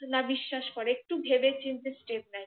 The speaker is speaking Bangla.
না বিশ্বাস করে একটু ভেবে চিনতে step নেয়